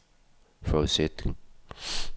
forudsætning